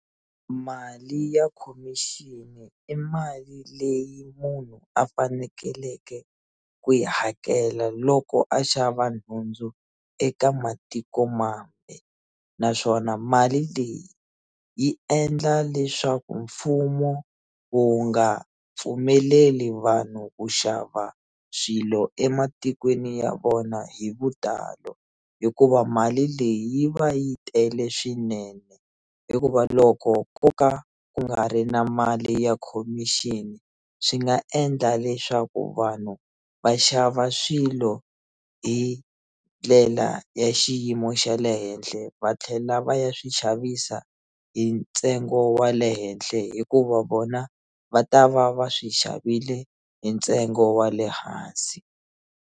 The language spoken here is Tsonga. Mali ya khomixini i mali leyi munhu a fanekeleke ku yi hakela loko a xava nhundzu eka matikomambe naswona mali leyi yi endla leswaku mfumo wu nga pfumeleli vanhu ku xava swilo ematikweni ya vona hi vutalo hikuva mali leyi yi va yi tele swinene hikuva loko ko ka ku nga ri na mali ya khomixini swi nga endla leswaku vanhu va xava swilo hi ndlela ya xi xiyimo xa le henhle va tlhela va ya swi xavisa hi ntsengo wa le henhle hikuva vona va ta va va swi xavile hi ntsengo wa le hansi.